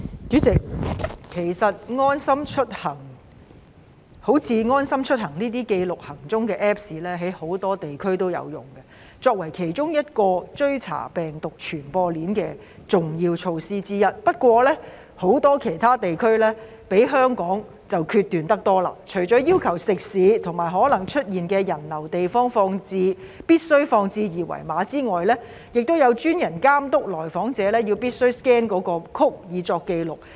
主席，其實好像"安心出行"這類記錄行蹤的 Apps， 在很多地區也有使用，以作為追查病毒傳播鏈的重要措施之一，不過很多其他地區比香港決斷得多，除了要求食肆及可能出現人流的地方必須張貼二維碼外，亦有專人監督到訪者必須 scan 那個 code 以作紀錄。